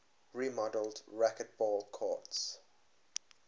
remodeled racquetball courts